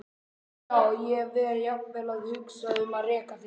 Já, ég var jafnvel að hugsa um að reka þig.